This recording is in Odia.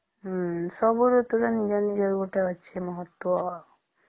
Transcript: ହମ୍ମ ସବୁ ଋତୁ ର ନିଜର ନିଜର ଅଛି ଗୋଟେ ମହତ୍ୱ ଆଉ